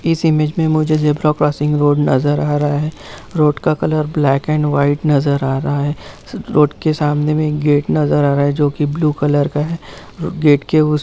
इस इमेज में मुझे ज़ेबरा क्रॉसिंग रोड नजर आ रहा है रोड का कलर ब्लैक एंड व्हाइट नजर आ रहा है रोड के सामने में गाते नजर आ रहा है जो की ब्लू कलर का है गेट के उसकी--